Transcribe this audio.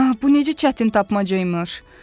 Ah, bu necə çətin tapmaca imiş!